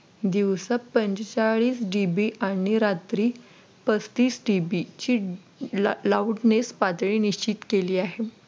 दिवसा पंचेचाळीस D. B आणि रात्री पस्तीस D. B ची loudness पातळी निश्चित केलेली आहे.